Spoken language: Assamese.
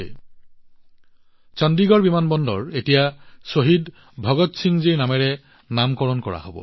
এই সিদ্ধান্ত লোৱা হৈছে যে চণ্ডীগড় বিমানবন্দৰৰ নাম এতিয়া শ্বহীদ ভগৎ সিং জীৰ নামেৰে ৰখা হব